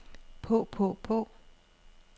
på på på